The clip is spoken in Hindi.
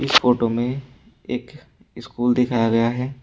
फोटो में एक स्कूल दिखाया गया है।